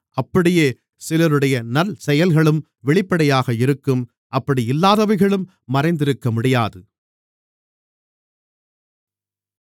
அப்படியே சிலருடைய நல்லசெயல்களும் வெளிப்படையாக இருக்கும் அப்படி இல்லாதவைகளும் மறைந்திருக்கமுடியாது